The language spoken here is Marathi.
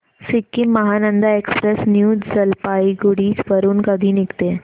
सिक्किम महानंदा एक्सप्रेस न्यू जलपाईगुडी वरून कधी निघते